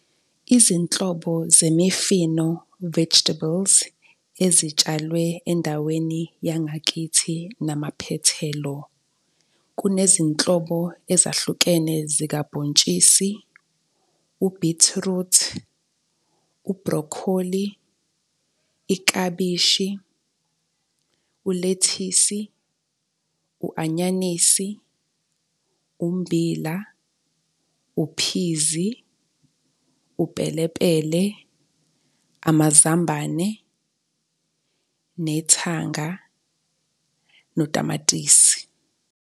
Izinhlobo zemifino, vegetables ezitshalwe endaweni yangakithi namaphethelo. Kunezinhlobo ezahlukene zikabhontshisi, ubhithiruthi, ubhrokholi, iklabishi, ulethisi, u-anyanisi, umbila, uphizi, upelepele, amazambane, nethanga notamatisi.